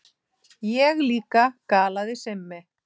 Ég líka galaði Simmi.